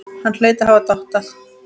Hann hlaut að hafa dottað.